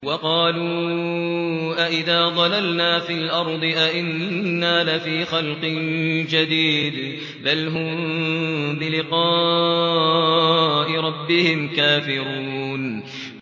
وَقَالُوا أَإِذَا ضَلَلْنَا فِي الْأَرْضِ أَإِنَّا لَفِي خَلْقٍ جَدِيدٍ ۚ بَلْ هُم بِلِقَاءِ رَبِّهِمْ كَافِرُونَ